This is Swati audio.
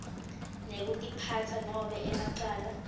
ngekutiphatsa nobe emacala